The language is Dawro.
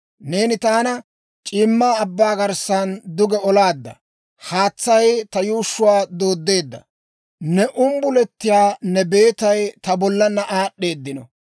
Neeni taana c'iimma abbaa garissan duge olaadda; haatsay ta yuushshuwaa dooddeedda; ne umbuletiyaa ne beetay ta bollaanna aad'd'eedino.